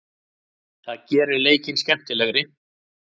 Það gerir leikinn skemmtilegri.